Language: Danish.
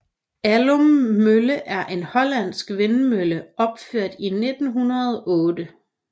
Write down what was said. Aulum Mølle er en hollandsk vindmølle opført i 1908